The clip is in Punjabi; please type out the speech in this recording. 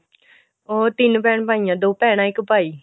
ਉਹ ਤਿੰਨ ਭੈਣ ਭਾਈ ਨੇ ਦੋ ਭੈਣਾ ਇੱਕ ਭਾਈ